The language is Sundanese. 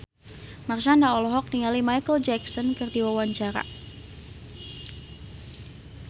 Marshanda olohok ningali Micheal Jackson keur diwawancara